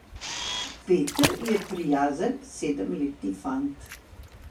Peter je prijazen sedemletni fant.